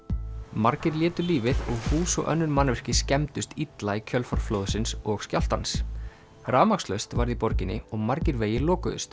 margir létu lífið og hús og önnur mannvirki skemmdust illa í kjölfar flóðsins og skjálftans rafmagnslaust varð í borginni og margir vegir lokuðust